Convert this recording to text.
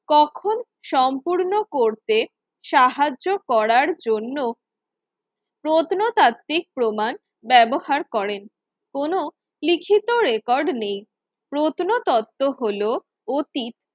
কখন সম্পূর্ণ করতে সাহায্য করার জন্য প্রত্নতাত্ত্বিক প্রমাণ ব্যবহার করেন, কোন লিখিত রেকর্ড নেই প্রত্নতত্ত্ব হলো অতীত